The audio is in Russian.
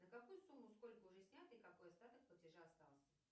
на какую сумму сколько уже снято и какой остаток платежа остался